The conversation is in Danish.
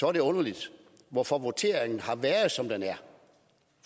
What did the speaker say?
er det underligt hvorfor voteringen har været som den